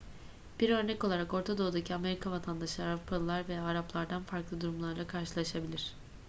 bir örnek olarak orta doğu'daki amerika vatandaşları avrupalılar veya araplardan farklı durumlarla karşılaşabilir